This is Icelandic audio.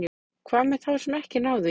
Hvað með þá sem ekki ná því?